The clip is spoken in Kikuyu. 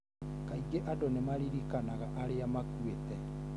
Kaingĩ andũ nĩ maririkanaga arĩa makuĩte.